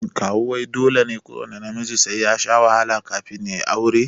Kawu wai dole ne kuwanna namiji sai yashi wahala kafin yayi aure?